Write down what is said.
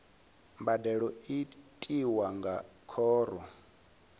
mbadelo i tiwa nga khoro